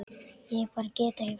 Ég bara get ekki farið